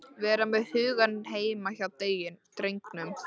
Vera með hugann heima hjá drengnum.